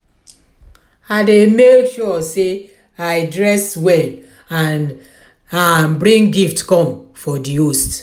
i dey make sure say i dress well and and bring gift come for di host.